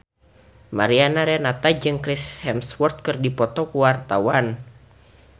Mariana Renata jeung Chris Hemsworth keur dipoto ku wartawan